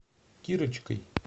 кирочкой